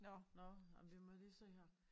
Nåh ej men vi må lige se her